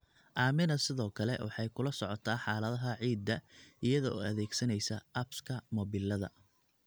Aamina sidoo kale waxay kula socotaa xaaladaha ciidda iyada oo adeegsanaysa apps-ka mobilada.